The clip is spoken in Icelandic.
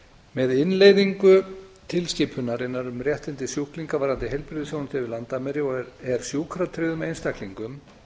með innleiðingu tilskipunarinnar um réttindi sjúklinga varðandi heilbrigðisþjónustu yfir landamæri er sjúkratryggðum einstaklingum